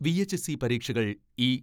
VHSE പരീക്ഷകൾ ഈ